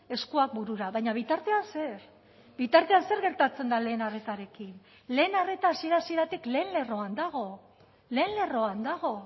eskuak burura baina bitartean zer bitartean zer gertatzen da lehen arretarekin lehen arreta hasiera hasieratik lehen lerroan dago lehen lerroan dago